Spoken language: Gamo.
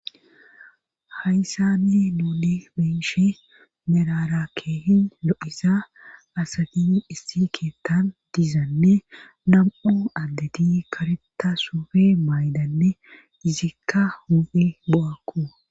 hayssani nuuni biishi mirarakkehin lo7isa asadi issi keettan diizanne nam7u addeti kareta sufe maaydanne izikka hu7i bowakku